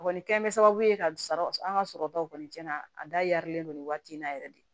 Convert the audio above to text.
A kɔni kɛ bɛ sababu ye ka sara an ka sɔrɔtaw kɔni cɛn na a darilen don nin waati in na yɛrɛ de